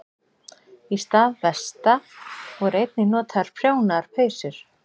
Í stað vesta voru einnig notaðar prjónaðar peysur.